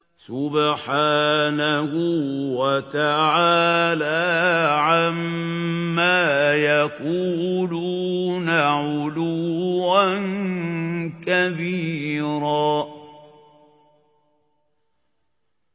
سُبْحَانَهُ وَتَعَالَىٰ عَمَّا يَقُولُونَ عُلُوًّا كَبِيرًا